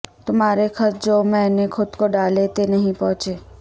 تمہارے خط جو میں نے خود کو ڈالے تھے نہیں پہنچے